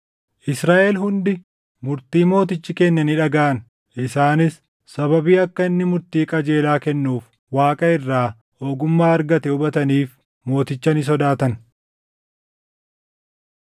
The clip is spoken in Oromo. Israaʼel hundi murtii mootichi kenne ni dhagaʼan; isaanis sababii akka inni murtii qajeelaa kennuuf Waaqa irraa ogummaa argate hubataniif mooticha ni sodaatan.